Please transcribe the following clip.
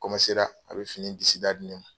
a bɛ fini disi da di ne ma.